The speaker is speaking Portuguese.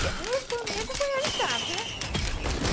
Porque o meu sonho já foi realizado, né?